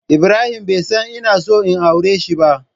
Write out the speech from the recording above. Ibrahim bai san ina son in auren shi ba.